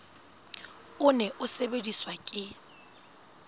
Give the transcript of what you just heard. o ne o sebediswa ke